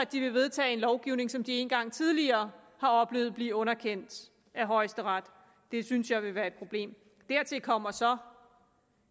de vil vedtage en lovgivning som de en gang tidligere har oplevet blive underkendt af højesteret det synes jeg ville være et problem dertil kommer så